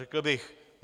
řekl bych.